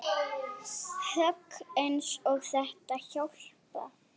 Högg eins og þetta hjálpa